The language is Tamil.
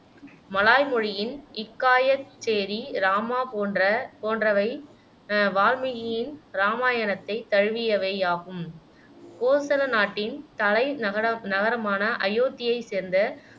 மலாய் மொழியின் இக்காயத் சேரி ராமா போன்ற போன்றவை அஹ் வால்மீகியின் இராமாயணத்தைத் தழுவியவை ஆகும் கோசல நாட்டின் தலை நகர நகரமான அயோத்தியை சேர்ந்த